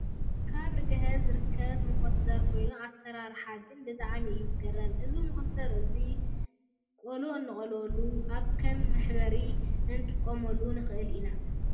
ካብ ርግሀ ዝርከብ ሞኮስተር ኮይኑ ኣሰራርሓ ግና ብጣዕሚ እዩ ዝገርም ። እዚ መኮስተር እዙይ ጎሎ እንቀልወሉን ኣብ ከም መሕበሪ ክንጥቀመሉ ንኽእል ኢና።